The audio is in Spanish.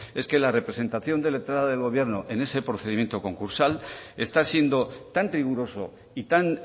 es que la representación letrada del gobierno en ese procedimiento concursal está siendo tan riguroso y tan